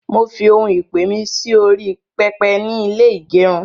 mọ fí òún ìpè mí Si orí pẹpẹ nì ilé igerun